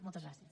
moltes gràcies